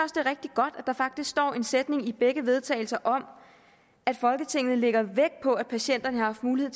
der faktisk står en sætning i begge vedtagelse om at folketinget lægger vægt på at patienterne har haft mulighed